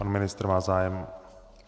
Pan ministr má zájem?